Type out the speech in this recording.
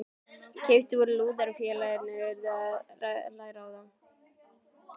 Keyptir voru lúðrar og félagarnir urðu að læra á þá.